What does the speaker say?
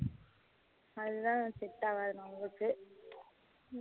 அதுதான் set ஆகாது நம்மளுக்கு